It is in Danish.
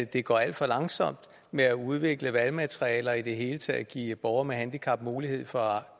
det går alt for langsomt med at udvikle valgmateriale og i det hele taget give borgere med handicap mulighed for at